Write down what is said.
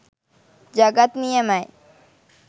ජගත් නියමයි.